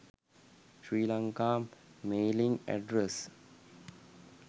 sri lanka mailing address